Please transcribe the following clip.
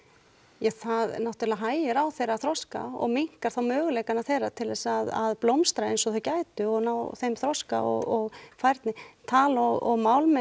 ja það náttúrulega hægir á þeirra þroska og minnkar þá möguleika þeirra til að blómstra eins og þau gætu og ná þeim þroska og færni tal og